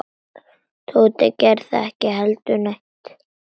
Tóti gerði ekki heldur neitt.